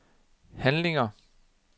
handlinger